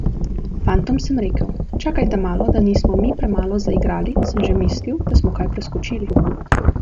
Fantom sem rekel: 'Čakajte malo, da nismo mi premalo zaigrali, sem že mislil, da smo kaj preskočili.